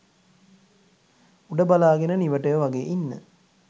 උඩ බලාගෙන නිවටයෝ වගේ ඉන්න